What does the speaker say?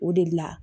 O de la